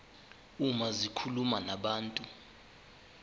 uma zikhuluma nabantu